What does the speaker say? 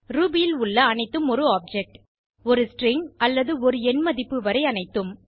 Ruby ல் உள்ள அனைத்தும் ஒரு ஆப்ஜெக்ட் ஒரு ஸ்ட்ரிங் அல்லது எண் மதிப்பு வரை அனைத்தும்